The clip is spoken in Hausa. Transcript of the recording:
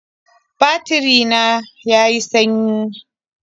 Batiri na ya yi sanyi